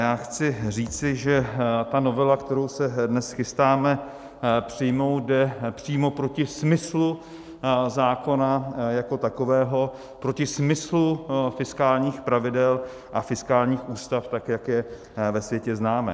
Já chci říci, že ta novela, kterou se dnes chystáme přijmout, jde přímo proti smyslu zákona jako takového, proti smyslu fiskálních pravidel a fiskálních ústav, tak jak je ve světě známe.